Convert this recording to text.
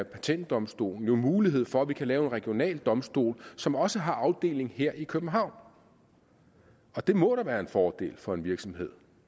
patentdomstolen jo mulighed for at vi kan lave en regional domstol som også har en afdeling her i københavn og det må da være en fordel for en virksomhed